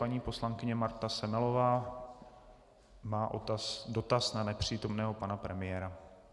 Paní poslankyně Marta Semelová má dotaz na nepřítomného pana premiéra.